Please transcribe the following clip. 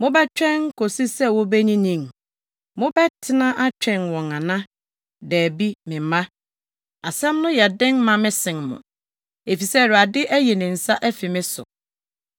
mobɛtwɛn kosi sɛ wobenyinyin? Mobɛtena atwɛn wɔn ana? Dabi, me mma. Asɛm no yɛ den ma me sen mo, efisɛ Awurade ayi ne nsa afi me so!”